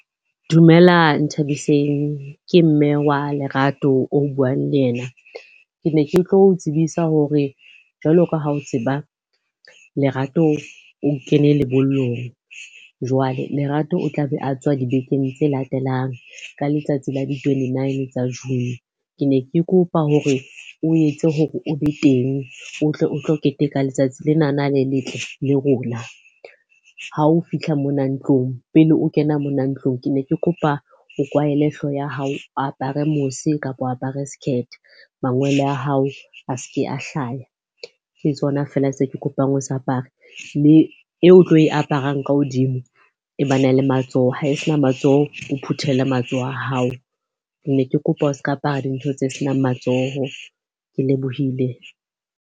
Dumela Nthabiseng. Ke mme wa Lerato o buang le yena. Ke ne ke tlo tsebisa hore jwalo ka ha o tseba Lerato o kene lebollong. Jwale Lerato o tlabe a tswa dibekeng tse latelang ka letsatsi la di-twenty-nine tsa June. Ke ne ke kopa hore o etse hore o be teng o tle o tlo keteka letsatsi lenana le letle le rona. Ha o fihla mona ntlong pele o kena mona ntlong, ke ne ke kopa o kwahele hlooho ya hao, o apare mose kapa o apare skirt. Mangwele a hao a se ke a hlaya, ke tsona fela se ke kopang o se apare. Mme eo o tlo e aparang ka hodimo e bana le matsoho. Ha e sena matsoho, o phuthele matsoho a hao. Ke ne ke kopa o se ka apara dintho tse senang matsoho. Ke lebohile.